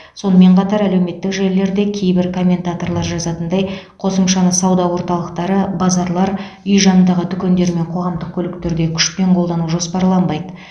сонымен қатар әлеуметтік желілерде кейбір комментаторлар жазатындай қосымшаны сауда орталықтары базарлар үй жанындағы дүкендер мен қоғамдық көліктерде күшпен қолдану жоспарланбайды